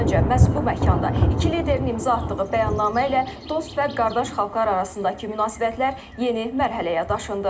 Dörd il öncə məhz bu məkanda iki liderin imza atdığı bəyannamə ilə dost və qardaş xalqlar arasındakı münasibətlər yeni mərhələyə daşındı.